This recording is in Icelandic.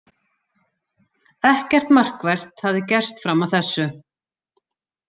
Ekkert markvert hafði gerst fram að þessu.